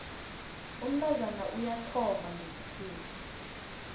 umntazana uyathomba ngesikhethu